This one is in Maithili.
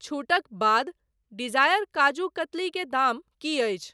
छूटक बाद डिजायर काजू कतली के दाम की अछि ?